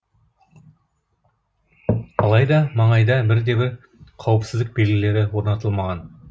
алайда маңайда бірде бір қауіпсіздік белгілері орнатылмаған